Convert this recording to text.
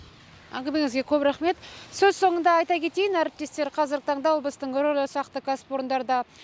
әңгімеңізге көп рақмет сөз соңында айта кетейін әріптестер қазіргі таңда облыстың ірілі ұсақты кәсіпорындарда